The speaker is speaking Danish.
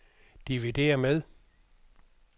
dividér med